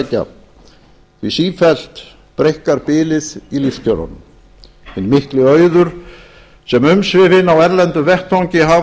sækja því sífellt breikkar bilið í lífskjörunum hinn mikli auður sem umsvifin á erlendum vettvangi hafa